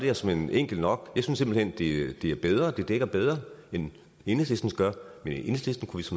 er såmænd enkelt nok jeg synes simpelt hen det er bedre det dækker bedre end enhedslistens gør men enhedslistens